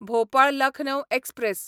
Bhopal Lucknow express